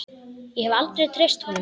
Ég hef aldrei treyst honum.